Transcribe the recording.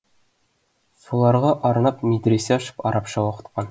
соларға арнап медресе ашып арабша оқытқан